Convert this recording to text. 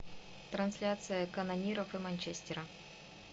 трансляция канониров и манчестера